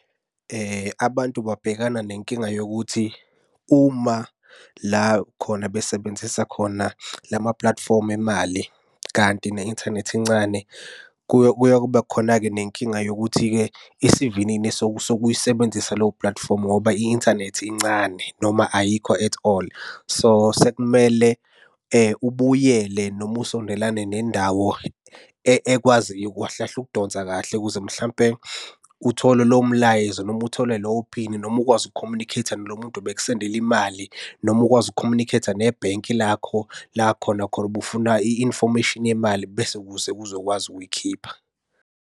Abantu babhekana nenkinga yokuthi uma la khona besebenzisa khona lamaplatifomu emali, kanti ne-inthanethi incane, kuye kube khona-ke nenkinga yokuthi-ke isivinini sokuyisebenzisa leyo platifomu ngoba i-inthanethi incane noma ayikho at all. So, sekumele ubuyele noma usondelana nendawo ekwaziyo kahlekahle ukudonsa kahle ukuze mhlampe uthole lowo mlayezo noma uthole lowo phini noma ukwazi uku-communicate-a nalo muntu obekusendelam imali, noma ukwazi uku-communicate-a nebhenki lakho la khona khona ubufuna i-information yemali, bese ukuze uzokwazi ukuyikhipha.